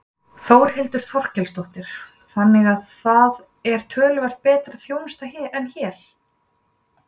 Þórhildur Þorkelsdóttir: Þannig að það er töluvert betri þjónusta en hér?